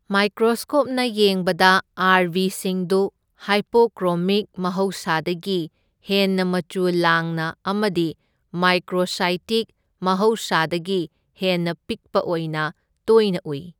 ꯃꯥꯢꯀ꯭ꯔꯣꯁꯀꯣꯞꯅ ꯌꯦꯡꯕꯗ R B ꯁꯤꯡꯗꯨ hypochromic ꯃꯍꯧꯁꯥꯗꯒꯤ ꯍꯦꯟꯅ ꯃꯆꯨ ꯂꯥꯡꯅ ꯑꯃꯗꯤ ꯃꯥꯢꯀ꯭ꯔꯣꯁꯥꯢꯇꯤꯛ ꯃꯍꯧꯁꯥꯗꯒꯤ ꯍꯦꯟꯅ ꯄꯤꯛꯄ ꯑꯣꯢꯅ ꯇꯣꯢꯅ ꯎꯢ꯫